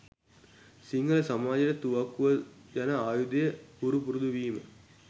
සිංහල සමාජයට තුවක්කුව යන ආයුධය හුරු පුරුදුවීම